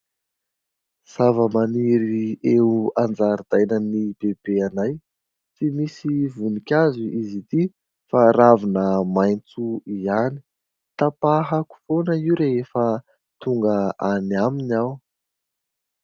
Zava-maniry eo anjaridainan'i bebe anay, tsy misy vonikazo izy ity fa ravina maitso ihany. Tapahako foana io rehefa tonga any aminy aho.